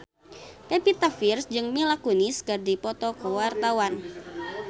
Pevita Pearce jeung Mila Kunis keur dipoto ku wartawan